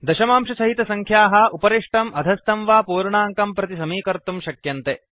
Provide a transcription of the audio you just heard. दशमांशसहितसंख्याः उपरिष्टम् अधस्थं वा पूर्णाङ्कं प्रति समीकर्तुं शक्यन्ते